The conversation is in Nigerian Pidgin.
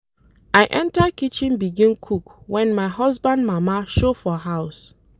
I enta kitchen begin cook wen my husband mama show for house.